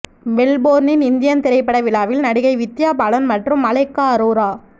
மெல்போர்னின் Indian திரைப்பட விழாவில் நடிகை வித்யா பாலன் மற்றும் மலைக்கா அரோரா